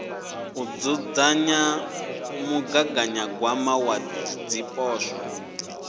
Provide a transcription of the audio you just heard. u dzudzanya mugaganyagwama wa zwipotso